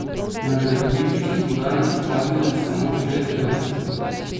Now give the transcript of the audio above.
Na gradbišču smo danes opazili samo šest delavcev.